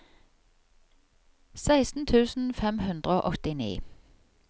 seksten tusen fem hundre og åttini